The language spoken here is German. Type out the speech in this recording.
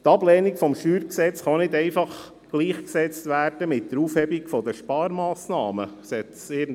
Die Ablehnung des StG kann nicht einfach mit der Aufhebung der Sparmassnahmen gleichgesetzt werden.